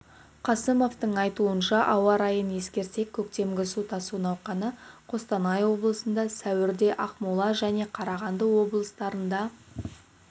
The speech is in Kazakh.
қасымовтың айтуынша ауа райын ескерсек көктемгі су тасу науқаны қостанай облысында сәуірде ақмола және қарағанды облыстарында